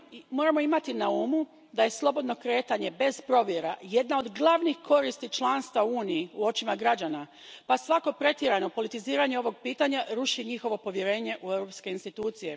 Moramo imati na umu da je slobodno kretanje bez provjera jedna od glavnih koristi članstva u Uniji u očima građana pa svako pretjerano politiziranje ovog pitanja ruši njihovo povjerenje u europske institucije.